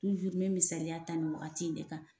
tuzuru n be misaliya ta ni wagati in ne kan